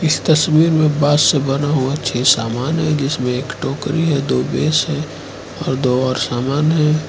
इस तस्वीर में बास से बना हुआ छे समान है जिसमें एक टोकरी है तो बेस है और दो और सामान है।